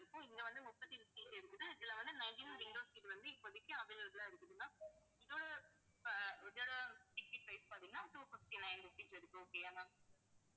இப்ப இங்க வந்து முப்பத்தி எட்டு seat இருக்குது. இதில வந்து nineteen window seat வந்து இப்போதைக்கு available ஆ இருக்குது ma'am இதோட அஹ் ticket price பாத்தீங்கன்னா two fifty-nine rupees இருக்கு okay யா ma'am